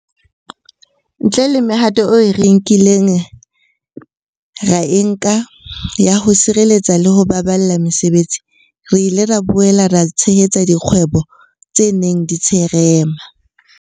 Ntle le mehato eo re ileng ra e nka ya ho sireletsa le ho baballa mesebetsi, re ile ra boela ra tshehetsa dikgwebo tse neng di tsherema.